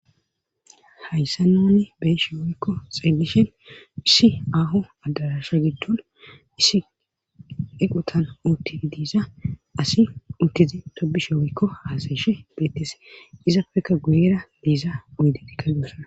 Hayn nuni beyisnhen woykko xelishe dayssi issi aho adarasha gidon assi banta osoba tobishenne hasayis dees ezappe guyera oydetika deyosona.